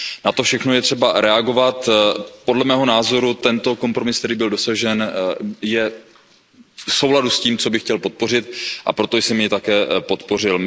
Na to vše je třeba reagovat, podle mého názoru tento kompromis, který byl dosažen, je v souladu s tím, co bych chtěl podpořit, a proto jsem jej také podpořil.